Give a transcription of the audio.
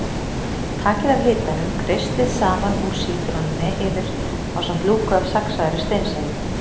Takið af hitanum, kreistið safann úr sítrónunni yfir ásamt lúku af saxaðri steinselju.